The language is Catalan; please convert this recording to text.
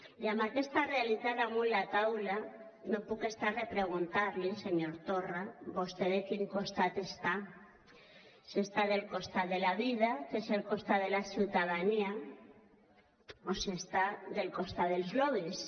i amb aquesta realitat damunt la taula no em puc estar de preguntar li senyor torra vostè de quin costat està si està al costat de la vida que és el costat de la ciutadania o si està al costat dels lobbys